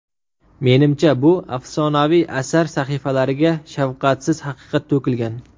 Menimcha, bu afsonaviy asar sahifalariga shafqatsiz haqiqat to‘kilgan.